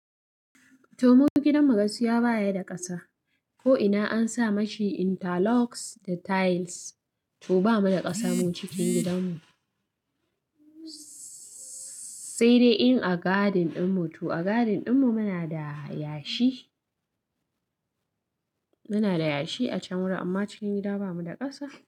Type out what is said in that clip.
To mu gidan mu gaskiya baya da ƙasa ko ina an sa mashi interlocks da tiles to bamu da ƙasa mu cikin gidan mu. Sai dai in a garden din mu, to a garden din mu muna da yashi, muna da yashi a can wurin amma cikin gida ba mu da ƙasa.